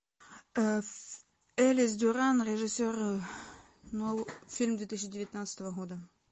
элис дюран режиссер фильм две тысячи девятнадцатого года